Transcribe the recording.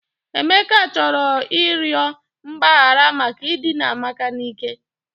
Emeka chọrọ ịrịọ mgbaghara maka idina amaka n'ike